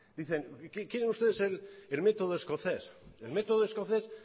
dicen quieren ustedes el método escocés el método escocés